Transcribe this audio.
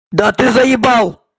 да ты заебал